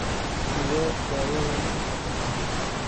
Sidee dawadani u shaqeysaa?